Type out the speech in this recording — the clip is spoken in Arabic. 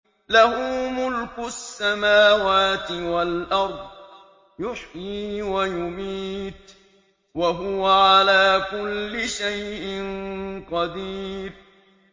لَهُ مُلْكُ السَّمَاوَاتِ وَالْأَرْضِ ۖ يُحْيِي وَيُمِيتُ ۖ وَهُوَ عَلَىٰ كُلِّ شَيْءٍ قَدِيرٌ